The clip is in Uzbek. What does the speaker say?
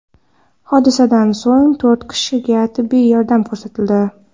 Hodisadan so‘ng to‘rt kishiga tibbiy yordam ko‘rsatildi.